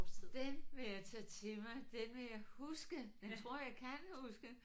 Den vil jeg tage til mig den vil jeg huske den tror jeg jeg kan huske